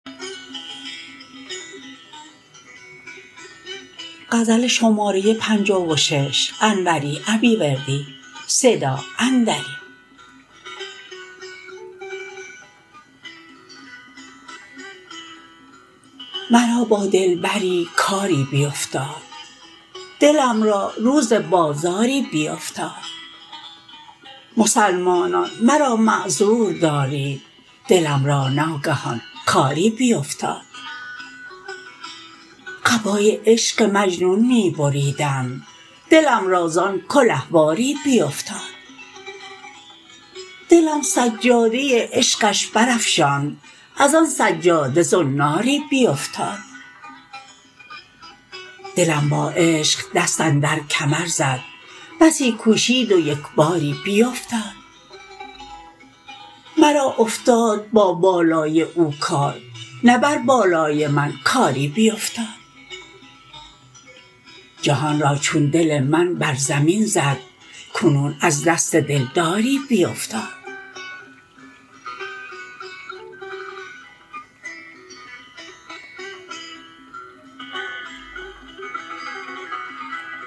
مرا با دلبری کاری بیفتاد دلم را روز بازاری بیفتاد مسلمانان مرا معذور دارید دلم را ناگهان کاری بیفتاد قبای عشق مجنون می بریدند دلم را زان کله واری بیفتاد دلم سجاده عشقش برافشاند از آن سجاده زناری بیفتاد دلم با عشق دست اندر کمر زد بسی کوشید و یکباری بیفتاد مرا افتاد با بالای او کار نه بر بالای من کاری بیفتاد جهان را چون دل من بر زمین زد کنون از دست دلداری بیفتاد